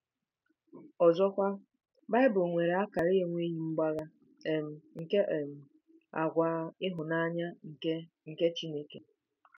Ọzọkwa, Bible nwere akara na-enweghị mgbagha um nke um àgwà ịhụnanya nke nke Chineke.